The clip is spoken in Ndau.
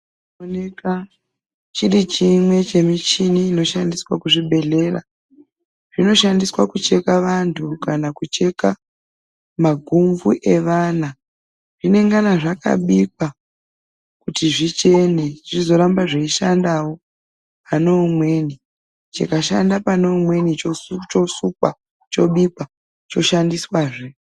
...chinooneka chiri chimwe chemichini inoshandiswa kuzvibhedhlera. Zvinoshandiswa kucheka vantu kana kucheka maguvhu evana. Zvinengana zvakabikwa kuti zvichene zvizoramba zveishandawo pane umweni. Chikashanda pane umweni chosukwa, chobikwa, choshandiswazve.